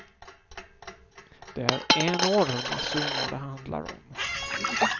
Det är enorma summor det handlar om.